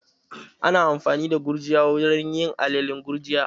Ana amfani da gurjiya wurin yin alalen gurjiya